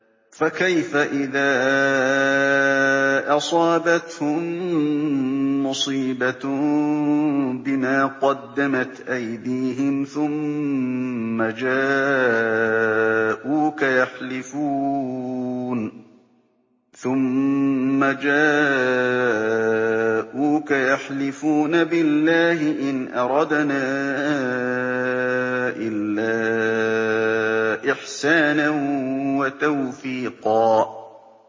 فَكَيْفَ إِذَا أَصَابَتْهُم مُّصِيبَةٌ بِمَا قَدَّمَتْ أَيْدِيهِمْ ثُمَّ جَاءُوكَ يَحْلِفُونَ بِاللَّهِ إِنْ أَرَدْنَا إِلَّا إِحْسَانًا وَتَوْفِيقًا